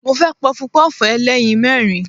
Mo fẹ́ Pọpọ́ọ̀fù ẹlẹ́yin mẹ́rin.